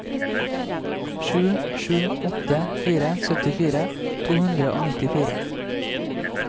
sju sju åtte fire syttifire to hundre og nittifire